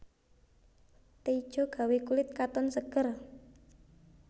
Teh ijo gawé kulit katon seger